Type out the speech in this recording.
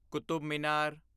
Qutub Minar